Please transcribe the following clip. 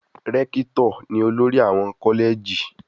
Rẹ́kítò ni olórí àwọn kọ́lẹ̀jì.